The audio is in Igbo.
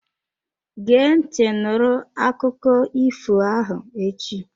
Gee ntị nụrụ akụkọ ifo ahụ echi!